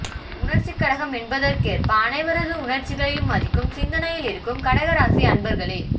உணர்ச்சிக்கடகம் எனபதற்கேற்ப அனைவரது உணர்ச்சிகளையும் மதிக்கும் சிந்தனையில் இருக்கும் கடக ராசி அன்பர்களே